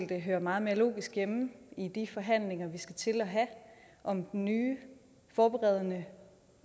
det høre meget mere logisk hjemme i de forhandlinger vi skal til at have om den nye forberedende